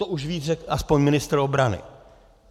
To už víc řekl aspoň ministr obrany.